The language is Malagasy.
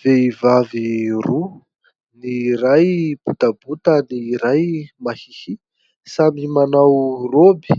Vehivavy roa, ny iray botabota, ny iray mahihia, samy manao roby